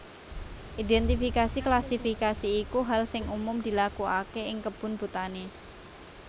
Identifikasi klasifikasi iku hal sing umum dilakuake ing kebun botani